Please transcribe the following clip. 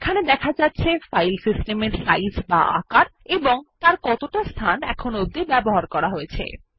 এখানে দেখা যাচ্ছে ফাইল সিস্টেমের সাইজ এবং কতটা স্থান ব্যবহার করা হয়েছে